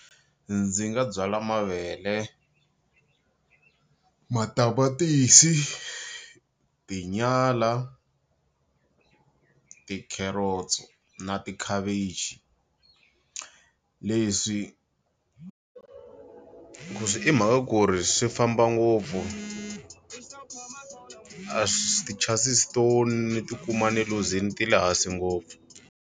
Ndzi nga byala mavele, matamatisi, tinyala, tikheretso na tikhavichi leswi i mhaka ku ri swi famba ngopfu a swi ti-chances to ni ti kuma ni luzini ti le hansi ngopfu.